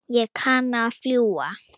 Ég kann að fljúga.